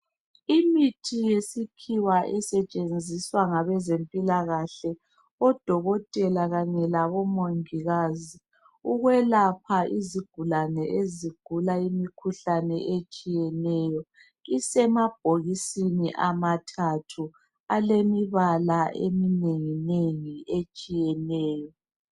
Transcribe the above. Imithi yesikhiwa esetshenziswa ngabezempilakahle, odokotela kanye labomongikazi ukwelapha izigulane ezigula imikhuhlane etshiyeneyo, isemabhokisini amathathu alemibala eminenginengi etshiyeneyo.